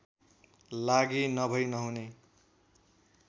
लागि नभै नहुने